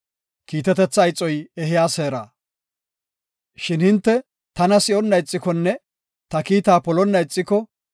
Shin hinte taana si7onna ixikonne, ta kiita polonna ixiko,